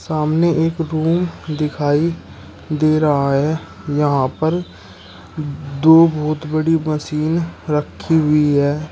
सामने एक रूम दिखाई दे रहा है यहां पर दो बहुत बड़ी मशीन रखी हुई है।